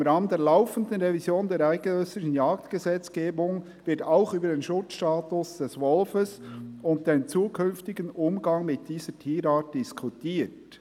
«Im Rahmen der laufenden Revision der eidgenössischen Jagdgesetzgebung wird auch über den Schutzstatus des Wolfes und den zukünftigen Umgang mit dieser Tierart diskutiert.